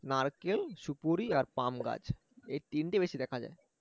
নারকেল সুপুরি আর পাম গাছ এই তিনটি বেশি দেখা যায়